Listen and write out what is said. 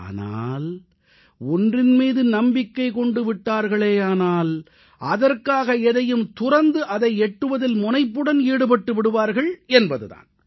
ஆனால் ஒன்றின் மீது நம்பிக்கை கொண்டு விட்டார்களேயானால் அதற்காக எதையும் துறந்து அதை எட்டுவதில் முனைப்புடன் ஈடுபட்டு விடுவார்கள் என்பது தான்